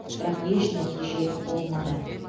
бірақ еш нәтиже болмады